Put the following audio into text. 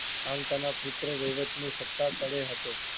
આલતા ના પુત્રો વહીવટ ની સતા તળે હતો.